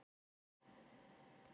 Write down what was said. Létt verk en leiðinlegt.